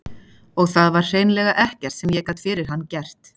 Og það var hreinlega ekkert sem ég gat fyrir hann gert.